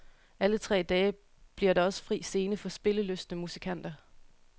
Alle tre dage bliver der også fri scene for spillelystne musikanter.